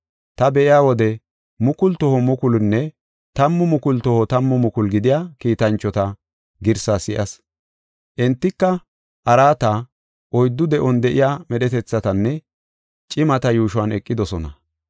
Ta be7iya wode mukulu toho mukulunne tammu mukulu toho tammu mukulu gidiya kiitanchota girsaa si7as. Entika araata, oyddu de7on de7iya medhetethatanne, cimata yuushuwan eqidosona.